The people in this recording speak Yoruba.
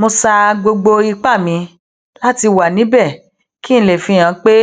mo sa gbogbo ipá mi láti wà níbè kí n lè fihàn pé